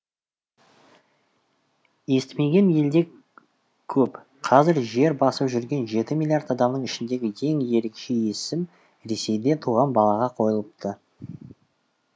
естімеген елде көп қазір жер басып жүрген жеті миллиард адамның ішіндегі ең ерекше есім ресейде туған балаға қойылыпты